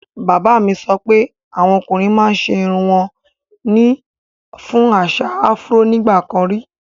Bàbá mi sọ pé awọn ọ̀kùnrin màá n ṣẹ irùn wọn ní fún àṣà Afro nígbàkàn rí.